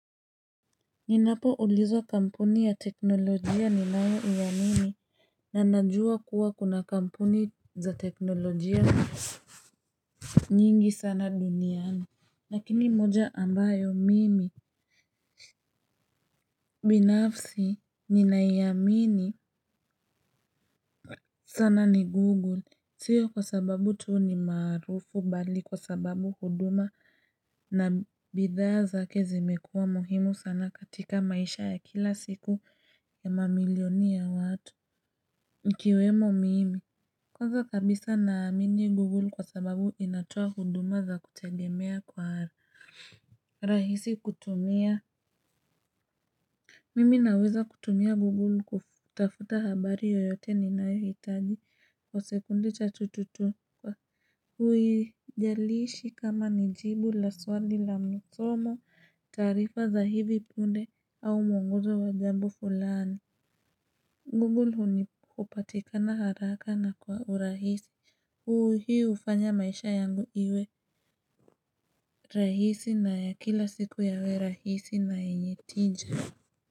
Ninapo ulizwa kampuni ya teknolojia ni nayo iamini na najua kuwa kuna kampuni za teknolojia nyingi sana duniani. Nakini moja ambayo mimi binafsi ninaiamini sana ni google sio kwa sababu tu ni maarufu bali kwa sababu huduma na bidhaa zake zimekuwa muhimu sana katika maisha ya kila siku ya mamilioni ya watu ikiwemo mimi Koza kabisa naamini Google kwa sababu inatoa huduma za kutegemea kwa rahisi kutumia. Mimi naweza kutumia Google kutafuta habari yoyote ninayo hitagi kwa sekunde cha tututu kwa uijaliishi kama nijibu la swali la msomo taarifa za hivi punde au mwongozo wa jambo fulani. Google huni upatikana haraka na kwa urahisi. Huu hii ufanya maisha yangu iwe rahisi na ya kila siku yawe rahisi na yenye tija.